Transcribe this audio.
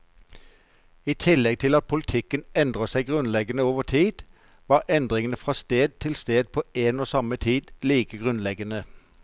I tillegg til at politikken endret seg grunnleggende over tid, var endringene fra sted til sted på en og samme tid like grunnleggende.